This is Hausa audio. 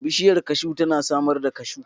Bishiyar kashu tana samar da kashu.